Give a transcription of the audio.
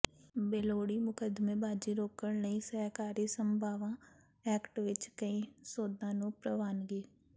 ਬੇਲੋੜੀ ਮੁਕੱਦਮੇਬਾਜ਼ੀ ਰੋਕਣ ਲਈ ਸਹਿਕਾਰੀ ਸਭਾਵਾਂ ਐਕਟ ਵਿੱਚ ਕਈ ਸੋਧਾਂ ਨੂੰ ਪ੍ਰਵਾਨਗੀ